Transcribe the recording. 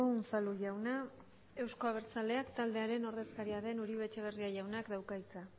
unzalu jauna euzko abertzaleak taldearen ordezkaria den uribe etxebarria jaunak dauka hitza